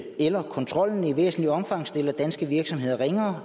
eller kontrollen i væsentligt omfang stiller danske virksomheder ringere